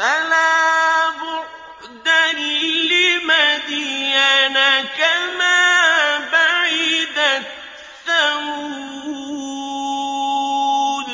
أَلَا بُعْدًا لِّمَدْيَنَ كَمَا بَعِدَتْ ثَمُودُ